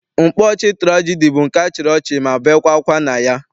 Mkpaọchị tụrajedi bụ nke a chịrị ọchị ma bekwaa akwa na ya.